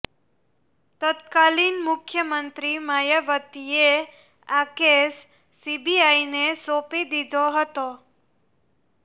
તત્કાલિન મુખ્યમંત્રી માયાવતીએ આ કેસ સીબીઆઈને સોંપી દીધો હતો